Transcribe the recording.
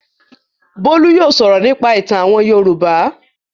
Bólú yóò sọ̀rọ̀ nípa ìtàn àwọn Yorùbá.